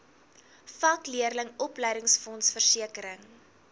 vakleerlingraad opleidingsfonds versekering